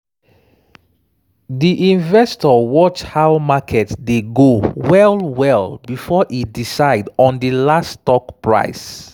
“di investor watch how market dey go well-well before e decide on di last stock price.”